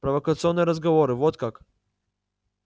провокационные разговоры вот как